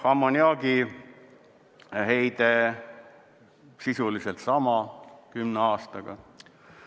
Ammoniaagiheide sisuliselt sama 10 aastaga.